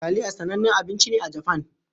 Taliya sanannen abinci ne a Japan.